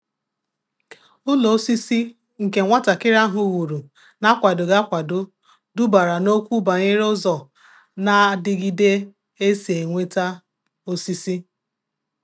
Ụ́lọ́ ósísí nke nwàtàkị́rị́ áhụ́ wùrù nà-ákwàdòghị́ ákwádò dùbàrà n’ókwù bànyéré ụ́zọ́ nà-àdị́gídé ésí é nwétà ósísí.